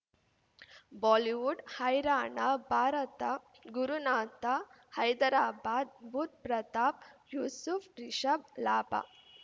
Bollywood ಹೈರಾಣ ಭಾರತ ಗುರುನಾಥ ಹೈದರಾಬಾದ್ ಬುಧ್ ಪ್ರತಾಪ್ ಯೂಸುಫ್ ರಿಷಬ್ ಲಾಭ